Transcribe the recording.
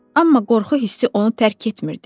Amma qorxu hissi onu tərk etmirdi.